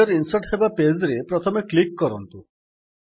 header insert ହେବା page ରେ ପ୍ରଥମେ କ୍ଲିକ୍ କରନ୍ତୁ